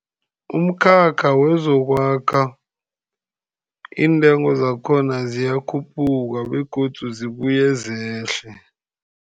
Umkhakha wezokwakha, iintengo zakhona ziyakhuphuka, begodu zibuye zehle.